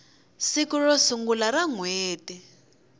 siku ro sungula ra nhweti